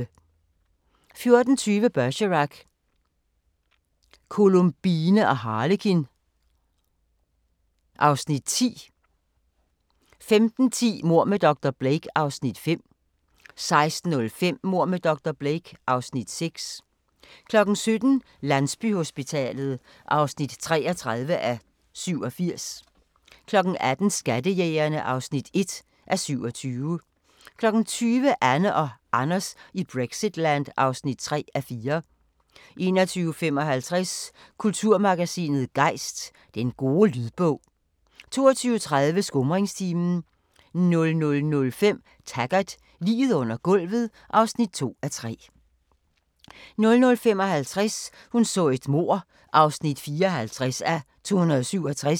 14:20: Bergerac: Columbine og Harlekin (Afs. 10) 15:10: Mord med dr. Blake (Afs. 5) 16:05: Mord med dr. Blake (Afs. 6) 17:00: Landsbyhospitalet (33:87) 18:00: Skattejægerne (1:27) 20:00: Anne og Anders i Brexitland (3:4) 21:55: Kulturmagasinet Gejst: Den gode lydbog 22:30: Skumringstimen 00:05: Taggart: Liget under gulvet (2:3) 00:55: Hun så et mord (54:267)